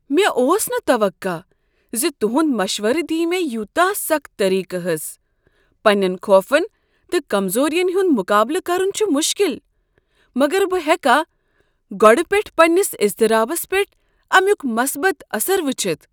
مےٚ اوس نہٕ توقع ز تہند مشورٕ دیہ مےٚ یوتاہ سخت طریقہٕ ہٕس۔ پننین خوفن تہٕ کمزورین ہند مقابلہٕ کرن چھ مشکل، مگر بہٕ ہیکا گۄڈٕ پیٹھٕ پننس اضطرابس پیٹھ امیک مثبت اثر وچھتھ۔